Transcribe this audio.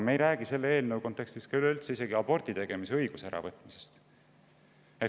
Me ei räägi selle eelnõu kontekstis ka abordi tegemise õiguse äravõtmisest.